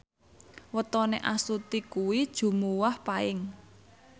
wetone Astuti kuwi Jumuwah Paing